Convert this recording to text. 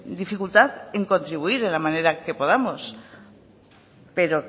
dificultad en contribuir en la manera que podamos pero